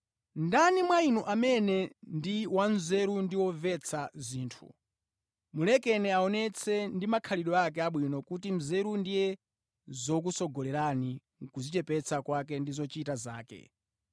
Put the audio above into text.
Ndani mwa inu amene ndi wanzeru ndi womvetsa zinthu? Mulekeni aonetse ndi makhalidwe ake abwino kuti nzeru ndiye zikutsogolera kudzichepetsa kwake ndi zochita zake